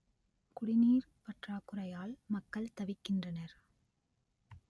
குடிநீர் பற்றாக்குறையால் மக்கள் தவிக்கின்றனர்